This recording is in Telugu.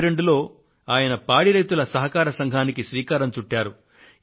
1942లో ఆయన పాడి రైతుల సహకార సంఘానికి శ్రీకారం చుట్టారు